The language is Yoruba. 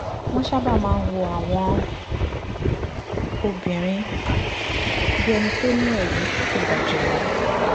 wọ́n sábà máa ń wo àwọn obìnrin bí ẹni tó ní ẹ̀rí tó ga jù lọ